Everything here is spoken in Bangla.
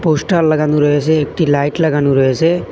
পোস্টার লাগানো রয়েসে একটি লাইট লাগানো রয়েসে।